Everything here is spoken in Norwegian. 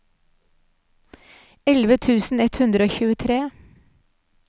elleve tusen ett hundre og tjuetre